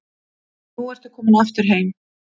Og nú ertu komin aftur heim?